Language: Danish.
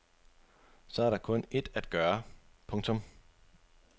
Så er der kun ét at gøre. punktum